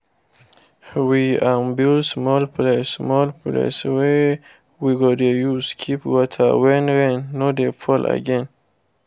we um build small place small place wey we go dey use keep water when rain no dey fall again